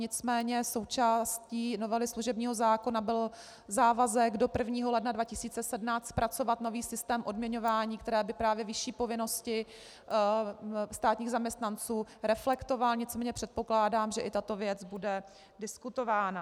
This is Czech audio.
Nicméně součástí novely služebního zákona byl závazek do 1. ledna 2017 zpracovat nový systém odměňování, který by právě vyšší povinnosti státních zaměstnanců reflektoval, nicméně předpokládám, že i tato věc bude diskutována.